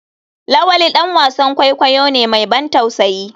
lawali dan wasan kwaikwayo ne mai ban tausayi.